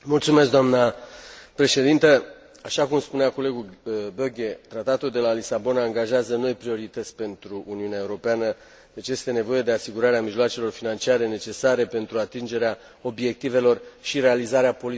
Așa cum spunea colegul Böge, Tratatul de la Lisabona angajează noi priorități pentru Uniunea Europeană, deci este nevoie de asigurarea mijloacelor financiare necesare pentru atingerea obiectivelor și realizarea politicilor Uniunii în acest context.